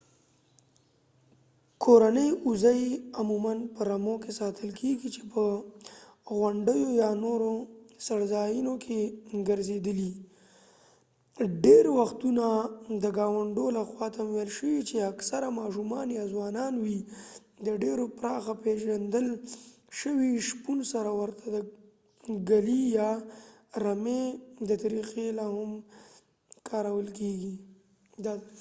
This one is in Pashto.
کورني وزې عموما په رمو کې ساتل کیدې چې په غونډیو یا نورو څړ ځایونو کې ګرځیدلې ډیری وختونه د ګاونډو لخوا تمویل شوي چې اکثرا ماشومان یا ځوانان وي د ډیر پراخه پیژندل شوي شپون سره ورته د ګلې يا رمې دا طريقې لاهم کارول کيږي